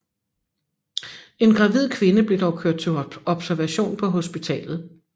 En gravid kvinde blev dog kørt til observation på hospitalet